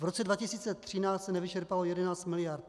V roce 2013 se nevyčerpalo 11 miliard.